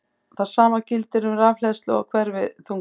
Það sama gildir um rafhleðslu og hverfiþunga.